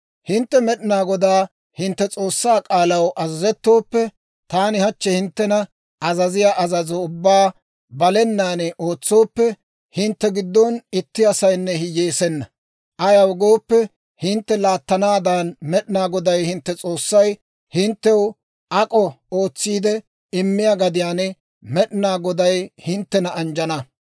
«Hintte Med'inaa Godaa hintte S'oossaa k'aalaw azazettooppe, taani hachchi hinttena azaziyaa azazo ubbaa balenaan ootsooppe, hintte giddon itti asaynne hiyyeesenna. Ayaw gooppe, hintte laattanaadan Med'inaa Goday hintte S'oossay hinttew ak'o ootsiide immiyaa gadiyaan Med'inaa Goday hinttena anjjana.